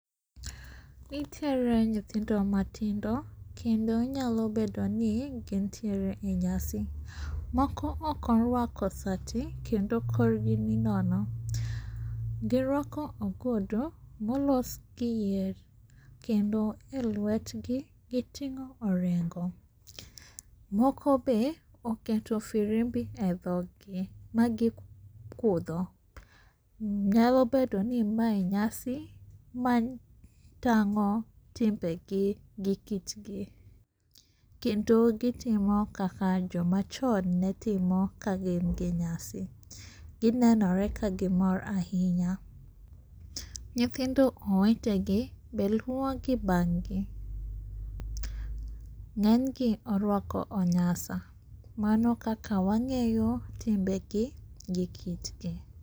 Nitiere nyithindo matindo kendo nyalo bedoni gintiere enyasi. Moko oko orwako sati kendo korgi ni nono girwako ogudu molosgi yier, kendo elwetgi giting'o orengo moko be oketo firimbi edhoggi magi kudho. Nyalo bedo ni mae nyasi matang'o timbegi gi kitgi. Kendo gitimo kaka jomachon netimo kagin gi nyasi. Ginenore ka gimore ahinya. Nyithindo owetegi be luo bang'gi.Ng'enygi orwako onyasa mano kaka wang'eyo timbegi gi kitgi.